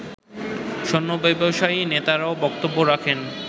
স্বর্ণ ব্যবসায়ী নেতারাও বক্তব্য রাখেন